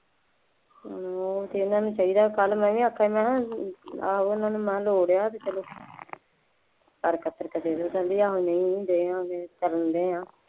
ਉਹ ਤਾਂ ਇਹਨਾ ਨੂੰ ਚਾਹੀਦਾ, ਕੱਲ੍ਹ ਮੈਂ ਵੀ ਆਖਿਆ ਸੀ ਮੈਂ ਕਿਹਾ ਆਹੋ ਇਹਨਾ ਨੂੰ ਲੋੜ ਹੈ, ਚੱਲੋ, ਕਰ ਕਤਰ ਕੇ ਦੇਣੇ ਪੈਂਦੇ ਹੈ, ਨਹੀਂ ਨਹੀਂ ਦੇਵਾਂਗੇ, ਅਸੀਂ ਤਾਂ ਦਿੰਦੇ ਹਾਂ।